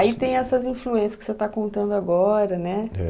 Aí tem essas influências que você está contando agora, né? É